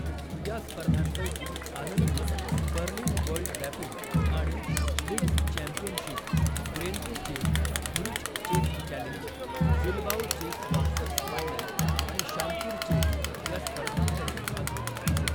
या स्पर्धांपैकी आनंदने बर्लिन वर्ल्ड रॅपिड आणि blitz championship, Grenke chess, Zurich chess challenge, Bilbao chess masters final आणि शामकीर चेस या स्पर्धांतही भाग घेतला.